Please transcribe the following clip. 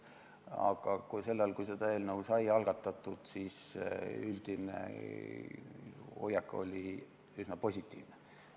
Aga sel ajal, kui see eelnõu sai algatatud, oli üldine hoiak üsna positiivne.